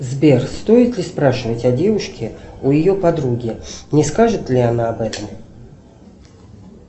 сбер стоит ли спрашивать о девушке у ее подруги не скажет ли она об этом